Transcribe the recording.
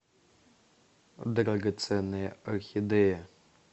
драгоценная орхидея